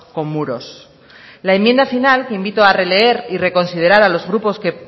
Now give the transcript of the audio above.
con muros la enmienda final que invito a releer y reconsiderar a los grupos que